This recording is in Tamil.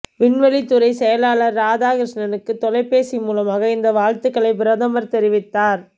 விண்வெளி துறை செயலாளர் ராதாகிருஷ்ணனுக்கு தொலைபேசி மூலமாக இந்த வாழ்த்துக்களை பிரதமர் தெரிவித்தார்